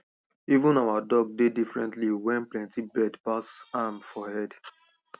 even our dog dey differently wen plenty bird pass am for head